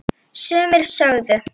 Sumir sögðu: